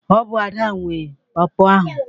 Ọ bụ Ada nwe Pọọpọ ahụ.